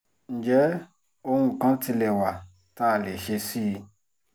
ǹjẹ́ ohun kan tilẹ̀ wà tá a lè ṣe sí i